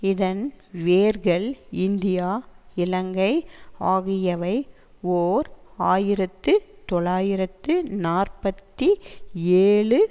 இதன் வேர்கள் இந்தியா இலங்கை ஆகியவை ஓர் ஆயிரத்து தொள்ளாயிரத்து நாற்பத்தி ஏழு